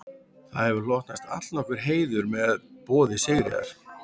Þér hefur hlotnast allnokkur heiður með boði Sigríðar